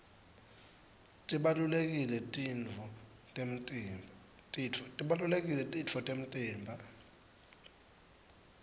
tibalulekile titfo temtimba